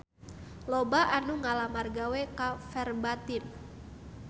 Loba anu ngalamar gawe ka Verbatim